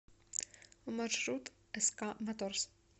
маршрут ск моторс